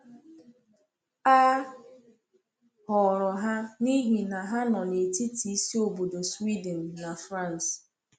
A họrọ ha n’ihi na ha nọ n’etiti isi obodo Sweden na France.